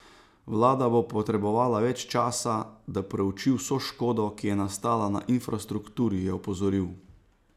Vlada bo potrebovala več časa, da preuči vso škodo, ki je nastala na infrastrukturi, je opozoril.